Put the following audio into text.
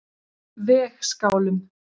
Vegskálum